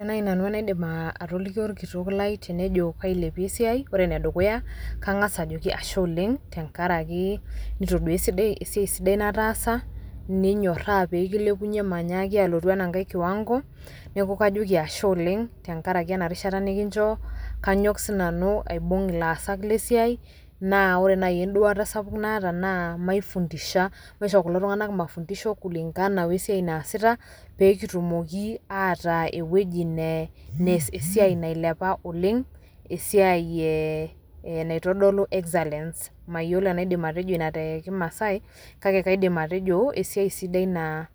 Ore nai nanu enadim atoliki orkitok lai tenejo kailepie esiai , ore ene dukuya kangas ajoki ashe oleng tenkaraki nitoduaa esiai sidai nataasa , ninyoraa pekilepunyie manyaaki alotu ena nkae kiwango , niaku kajoki ashe oleng , tenkaraki ena rishata nikinchoo . Kanyok sinanu aibung ilaasak le siai naa ore naji enduata sapuk naata naaa , maifundisha, maisho kulo tunganak mafundisho kulingana we esiai naasita peekitumoki ataa ewueji nees esiai nailepa oleng . Esiai ee naitodolu excellence mayiolo enaidim atejo ina te kimaasae kake kaidim atejo esiai sidai naa ,